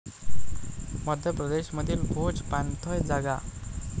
मध्य प्रदेश मधील भोज पाणथळ जागा